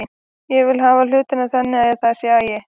Ég vil hafa hlutina þannig að það sé agi.